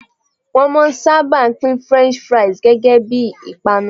Won maa n saba pin French fries gege bii ipanu